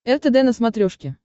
ртд на смотрешке